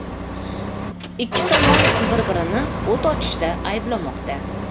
Ikki tomon bir-birini o‘t ochishda ayblamoqda.